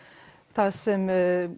það sem